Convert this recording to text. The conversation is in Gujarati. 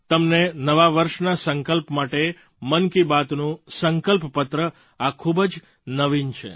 તમને નવા વર્ષના સંકલ્પ માટે મન કી બાતનું સંકલ્પપત્ર આ ખૂબ જ નવીન છે